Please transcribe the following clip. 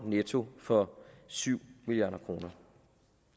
netto for syv milliard kroner